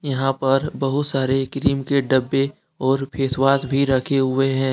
यहां पर बहुत सारे क्रीम के डब्बे और फेस वॉश भी रखे हुए हैं ।